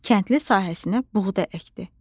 Kəndli sahəsinə buğda əkdi.